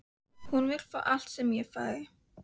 Hún vill fá allt sem ég fæ.